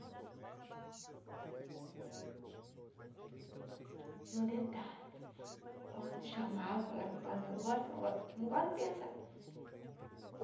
E um detalhe, quando chamava lá para o tal negócio, eu não gosto não gosto de pensar.